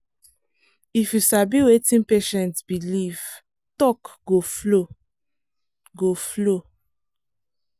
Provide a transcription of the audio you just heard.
if you sabi wetin patient believe talk go flow. go flow.